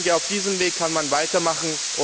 Ich denke, auf diesem Weg kann man weitermachen.